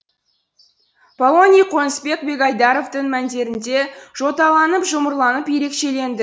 полоний қонысбек бегайдаровтың мәндерінде жоталанып жұмырланып ерекшеленді